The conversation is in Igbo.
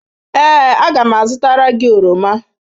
Ee, a ga m azụtara gị oroma.